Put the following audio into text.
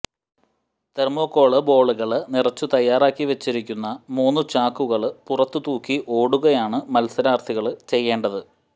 തെര്മോകോള് ബോളുകള് നിറച്ചു തയ്യാറാക്കി വെച്ചിരിക്കുന്ന മൂന്നു ചാക്കുകള് പുറത്തു തൂക്കി ഓടുകയാണ് മത്സാരാര്ഥികള് ചെയ്യേണ്ടത്